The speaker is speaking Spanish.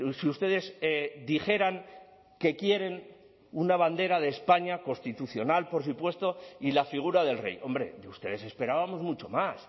si ustedes dijeran que quieren una bandera de españa constitucional por supuesto y la figura del rey hombre de ustedes esperábamos mucho más